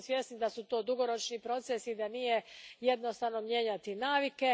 Svi smo svjesni da su to dugoročni procesi i da nije jednostavno mijenjati navike.